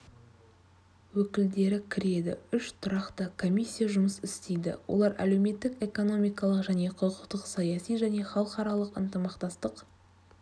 өкілдері кіреді үш тұрақты комиссия жұмыс істейді олар әлеуметтік-экономикалық және құқықтық саяси және халықаралық ынтымақтастық